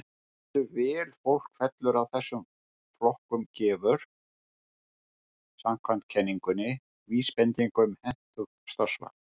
Hversu vel fólk fellur að þessum flokkum gefur, samkvæmt kenningunni, vísbendingu um hentugt starfsval.